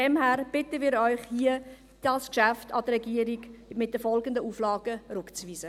Daher bitten wir Sie, dieses Geschäft mit den folgenden Auflagen an die Regierung zurückzuweisen.